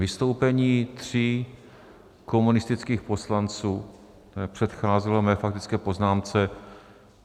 Vystoupení tří komunistických poslanců předcházelo mé faktické poznámce.